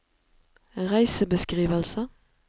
reisebeskrivelse